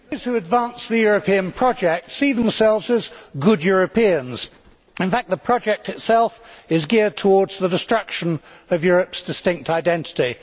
Mr President, those who advance the European project see themselves as good Europeans. In fact the project itself is geared towards the destruction of Europe's distinct identity.